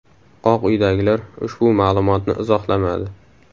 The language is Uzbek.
Oq uydagilar ushbu ma’lumotni izohlamadi.